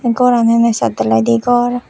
goran aney saat dalaidey gor.